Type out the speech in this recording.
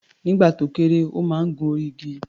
Nígbà tó kéré, ó máa ń gun orí igi.